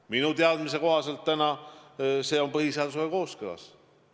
Minu teadmise kohaselt on see põhiseadusega kooskõlas.